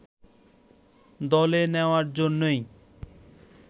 দলে নেয়ার জন্যই